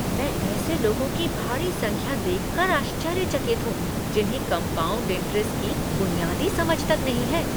मैं ऐसे लोगों की भारी संख्या देख कर आश्चर्यचकित हूँ जिन्हें कॉम्पाउंड इंट्रेस्ट की बुनियादी समझ तक नहीं है।